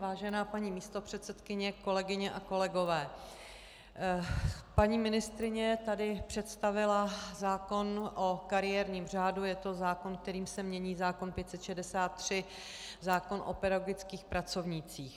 Vážená paní místopředsedkyně, kolegyně a kolegové, paní ministryně tady představila zákon o kariérním řádu, je to zákon, kterým se mění zákon 563, zákon o pedagogických pracovnících.